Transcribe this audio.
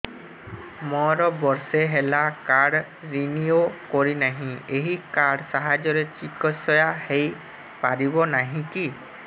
ମୋର ବର୍ଷେ ହେଲା କାର୍ଡ ରିନିଓ କରିନାହିଁ ଏହି କାର୍ଡ ସାହାଯ୍ୟରେ ଚିକିସୟା ହୈ ପାରିବନାହିଁ କି